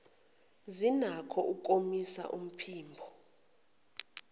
zinakho ukomisa umphimbo